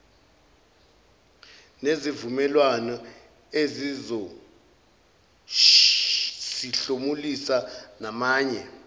nezivumelwano ezizosihlomulisa namanye